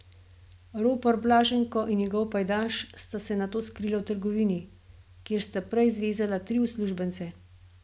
Ropar Blaženko in njegov pajdaš sta se nato skrila v trgovini, kjer sta prej zvezala tri uslužbence.